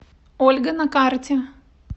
ольга на карте